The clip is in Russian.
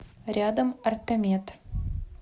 рядом ортомед